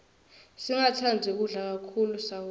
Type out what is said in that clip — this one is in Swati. singatsandzi kudla kakhulu sawoti